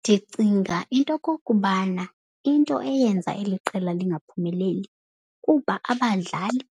Ndicinga into yokokubana into eyenza eli qela lingaphumeleli kuba abadlali